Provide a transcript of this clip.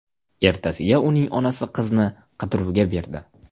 Ertasiga uning onasi qizni qidiruvga berdi.